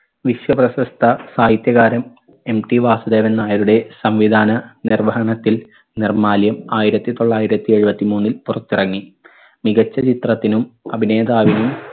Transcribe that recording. വിശ്വപ്രശസ്ഥ സാഹിത്യകാരൻ MT വാസുദേവൻ നായരുടെ സംവിധാന നിർവഹണത്തിൽ നിർമാല്യം ആയിരത്തി തൊള്ളായിരത്തി എഴുപത്തി മൂന്നിൽ പുറത്തിറങ്ങി. മികച്ച ചിത്രത്തിനും അഭിനേതാവിനും